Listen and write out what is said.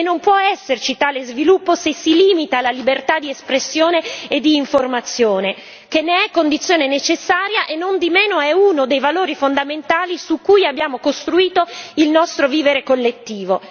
E non può esserci tale sviluppo se si limita la libertà di espressione e di informazione, che ne è condizione necessaria e, nondimeno, è uno dei valori fondamentali su cui abbiamo costruito il nostro vivere collettivo.